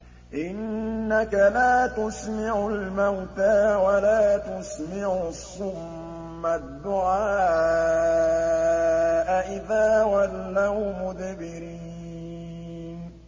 إِنَّكَ لَا تُسْمِعُ الْمَوْتَىٰ وَلَا تُسْمِعُ الصُّمَّ الدُّعَاءَ إِذَا وَلَّوْا مُدْبِرِينَ